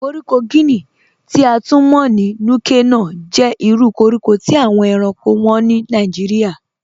Kọ̀ríkò Guinea, ti a tun mọ̀ ní Núkè-Nòh, jẹ́ ìrù kọ̀ríkò tí awọn èránkò wọ́n ni Nàìjíríà.